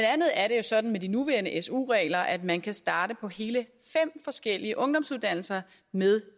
andet er det jo sådan med de nuværende su regler at man kan starte på hele fem forskellige ungdomsuddannelser med